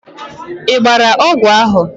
Ị gbara ọgwụ ahụ?